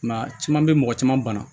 Nka caman bɛ mɔgɔ caman bana